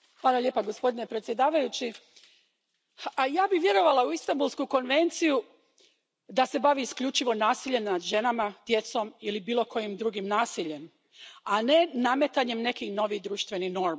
Poštovani predsjedavajući, ja bih vjerovala u Istanbulsku konvenciju da se bavi isključivo nasiljem nad ženama, djecom ili bilo kojim drugim nasiljem, a ne nametanjem nekih novih društvenih normi.